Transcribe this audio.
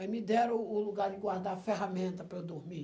Aí me deram o lugar de guardar ferramenta para eu dormir.